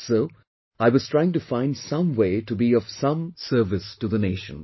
So, I was trying to find some way to be of some service to the nation